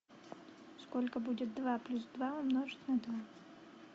сколько будет два плюс два умножить на два